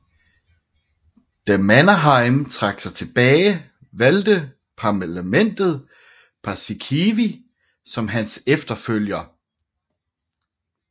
Da Mannerheim trak sig tilbage valgte parlamentet Paasikivi som hans efterfølger